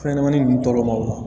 Fɛnɲɛnɛmanin ninnu tɔɔrɔ ma o la